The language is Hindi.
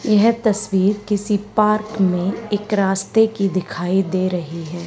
यह तस्वीर किसी पार्क में एक रास्ते की दिखाई दे रही है।